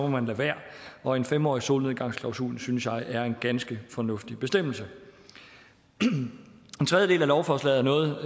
man lade være og en fem årig solnedgangsklausul synes jeg er en ganske fornuftig bestemmelse den tredje del af lovforslaget er noget